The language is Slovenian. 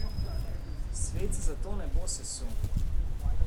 Svet se zato ne bo sesul.